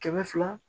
Kɛmɛ fila